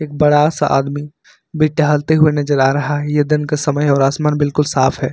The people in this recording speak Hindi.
बड़ा सा आदमी भी टहलते हुए नजर आ रहा है यह दिन का समय है और आसमान बिल्कुल साफ है।